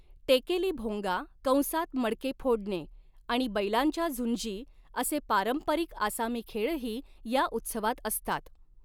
टेकेली भोंगा कंसात मडके फोडणे आणि बैलांच्या झुंजी असे पारंपरिक आसामी खेळही या उत्सवात असतात.